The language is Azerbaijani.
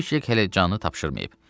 Kviçek hələ canını tapşırmayıb.